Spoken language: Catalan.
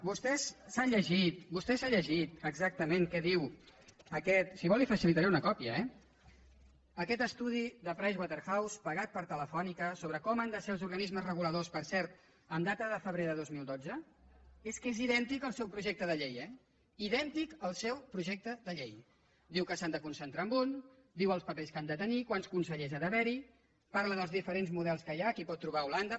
vostè s’ha llegit exactament què diu si vol li’n facilitaré una còpia eh aquest estudi de price waterhouse pagat per telefónica sobre com han de ser els organismes reguladors per cert amb data de febrer de dos mil dotze és que és idèntic al seu projecte de llei eh idèntic al seu projecte de llei diu que s’han de concentrar en un diu els papers que han de tenir quants consellers ha d’haver hi parla dels diferents models que hi ha que hi pot trobar holanda